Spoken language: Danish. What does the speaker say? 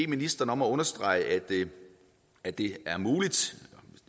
ministeren om at understrege at det er muligt